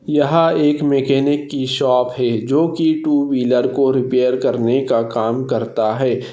यहा एक मेकॅनिक कि शॉप है जो कि टु व्हीलर को रिपेअर करने का काम करता है।